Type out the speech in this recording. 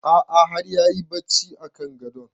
A'a har yayi barci a kan gadon